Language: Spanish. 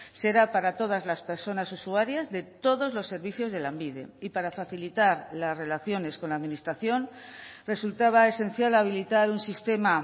será para todas las personas usuarias de todos los servicios de lanbide y para facilitar las relaciones con la administración resultaba esencial habilitar un sistema